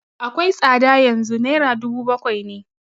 Akwai tsada yanzu, naira dubu bakwai ne